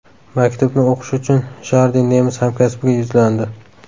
Maktubni o‘qish uchun Jardi nemis hamkasbiga yuzlandi.